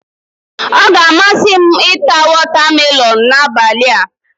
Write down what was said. Ọ ga-amasị m ita wọtamelọn n'abalị a.